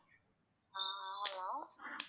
ஆஹ் hello